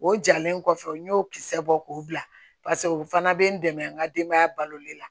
O jalen kɔfɛ n y'o kisɛ bɔ k'o bila paseke o fana bɛ n dɛmɛ n ka denbaya balolen la